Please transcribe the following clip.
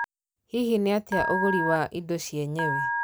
Hihi niatia ũguri wa indo cienyewe?